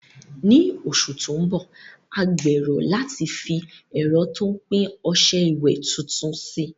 Ní oṣù tó ń bọ̀, a gbèrò láti fi ẹ̀rọ tó ń pín ọṣẹ ìwẹ̀ tuntun sí i.